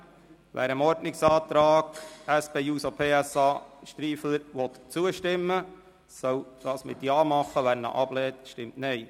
Wer dem Ordnungsantrag SP-JUSO-PSA/Striffeler zustimmen will, soll dies mit einem Ja zeigen, wer ihn ablehnt, stimmt Nein.